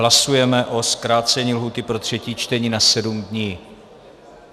Hlasujeme o zkrácení lhůty pro třetí čtení na sedm dní.